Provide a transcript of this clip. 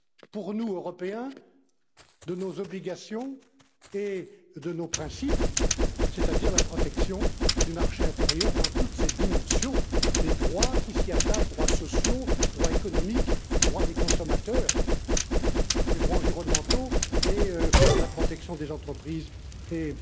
pour nous, Européens, de nos obligations et de nos principes, c'est à dire la protection du marché intérieur dans toutes ses dimensions et les droits qui s'y attachent droits sociaux, droits économiques, droits des consommateurs, droits environnementaux et la protection des entreprises et